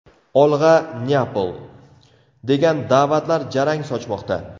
Olg‘a, Neapol!” degan da’vatlar jarang sochmoqda.